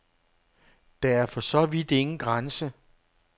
Der er for så vidt ingen grænse.